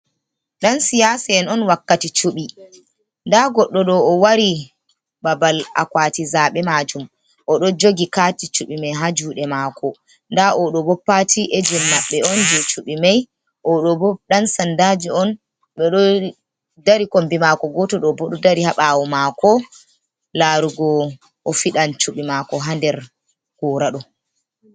Dan siyasi'en on wakkati cuɓi, nda goɗɗo ɗo o wari ɓabal akwati zaɓe majum oɗo jogi kati cubi mai ha juɗe mako, nda oɗo bopati ejen maɓɓe on je cubi mai, oɗo bo dan sandaji on ɓe ɗo dari kombi mako goto ɗo bo dari ha ɓawo mako larugo o fiɗan cuɓi mako ha nder gora ɗo.